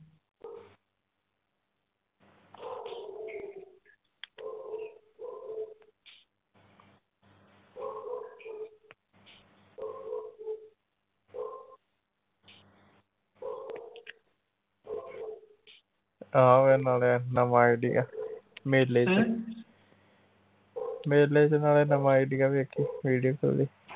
ਆਹੋ ਮੇਲੇ ਵਿਚ ਮੇਲੇ ਵਿਚ ਸਾਲੇ ਦਾ ਵੇਖੀ video ਖੋਲੀ